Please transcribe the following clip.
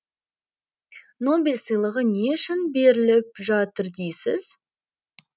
нобель сыйлығы не үшін беріліп жатыр дейсіз